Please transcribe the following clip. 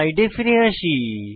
স্লাইডে ফিরে যাই